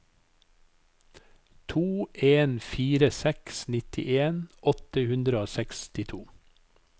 to en fire seks nittien åtte hundre og sekstito